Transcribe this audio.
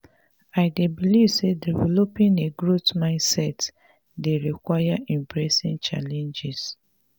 i dey believe say developing a growth mindset dey require embracing challenges.